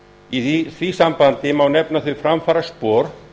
í því sambandi má nefna þau framfaraspor